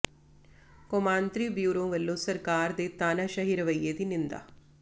ਕੌਮਾਂਤਰੀ ਬਿਉੂਰੋ ਵੱਲੋਂ ਸਰਕਾਰ ਦੇ ਤਾਨਾਸ਼ਾਹੀ ਰਵੱਈਏ ਦੀ ਨਿੰਦਾ